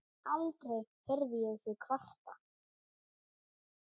Aldrei heyrði ég þig kvarta.